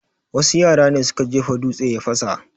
Wasu yara ne suka jefa dutse ya fasa